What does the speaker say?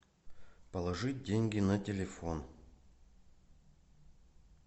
положить деньги на телефон